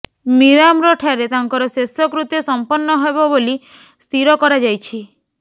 ମିରାମର ଠାରେ ତାଙ୍କର ଶେଷକୃତ୍ୟ ସମ୍ପନ୍ନ ହେବ ବୋଲିୀ ସ୍ଥିର କରାଯାଇଛି